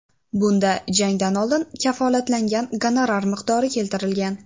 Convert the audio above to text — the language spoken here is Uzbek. Bunda jangdan oldin kafolatlangan gonorar miqdori keltirilgan.